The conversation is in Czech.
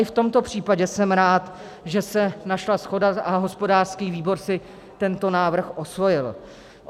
I v tomto případě jsem rád, že se našla shoda a hospodářský výbor si tento návrh osvojil.